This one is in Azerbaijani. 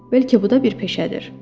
Bəlkə bu da bir peşədir?